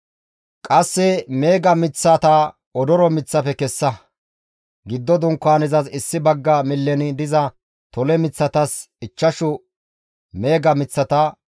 «Qasse meega miththata odoro miththafe kessa. Giddo Dunkaanezas issi bagga millen diza tole miththatas ichchashu meega miththata,